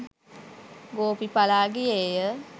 ගෝපි පලා ගියේය